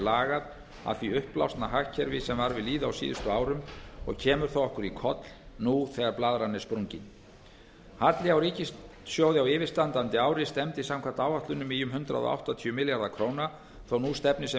lagað að því uppblásna hagkerfi sem var við lýði á síðustu árum og kemur það okkur í koll nú þegar blaðran er sprungin halli á ríkissjóði á yfirstandandi ári stefndi samkvæmt áætlunum í um hundrað áttatíu milljarða króna þó að nú stefni sem